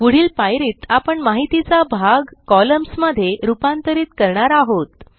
पुढील पायरीत आपण माहितीचा भाग कॉलम्न्स मध्ये रूपांतरित करणार आहोत